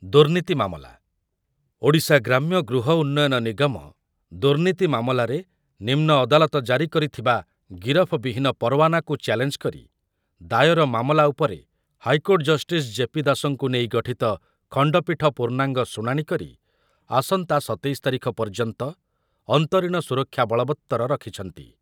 ଦୁର୍ନୀତି ମାମଲା, ଓଡ଼ିଶା ଗ୍ରାମ୍ୟ ଗୃହ ଉନ୍ନୟନ ନିଗମ ଦୁର୍ନୀତି ମାମଲାରେ ନିମ୍ନ ଅଦାଲତ ଜାରି କରିଥିବା ଗିରଫ ବିହୀନ ପରୱାନାକୁ ଚାଲେଞ୍ଜ କରି ଦାୟର ମାମଲା ଉପରେ ହାଇକୋର୍ଟ ଜଷ୍ଟିସ ଜେ.ପି. ଦାସଙ୍କୁ ନେଇ ଗଠିତ ଖଣ୍ଡପୀଠ ପୂର୍ଣ୍ଣାଙ୍ଗ ଶୁଣାଣି କରି ଆସନ୍ତା ସତେଇଶ ତାରିଖ ପର୍ଯ୍ୟନ୍ତ ଅନ୍ତରୀଣ ସୁରକ୍ଷା ବଳବତ୍ତର ରଖିଛନ୍ତି